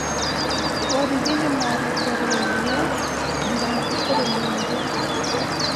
Borithi nĩmarekirie rithathi kũrĩ mũingĩ